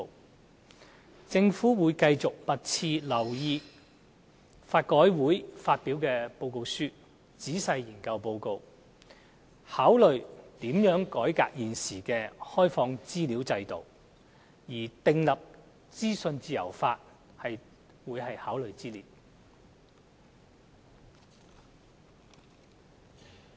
特區政府會密切留意法改會發表的報告書，仔細研究報告，考慮如何改革現時的公開資料制度，而訂立資訊自由法會在考慮之列。